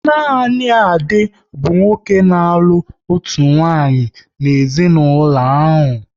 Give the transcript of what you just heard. Nanị Ade bụ nwoke n'alu otu nwaanyị n'ezinaulo ahụ